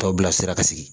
Tɔw bila sira ka sigi